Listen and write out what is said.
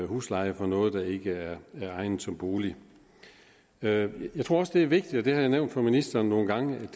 husleje for noget der ikke er egnet som bolig jeg tror også det er vigtigt og det har jeg nævnt for ministeren nogle gange at